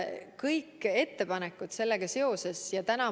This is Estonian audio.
Kõik ettepanekud selle kohta.